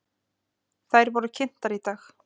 Þær voru kynntar í dag.